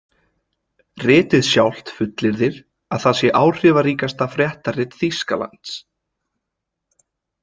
Ritið sjálft fullyrðir, að það sé áhrifaríkasta fréttarit Þýskalands.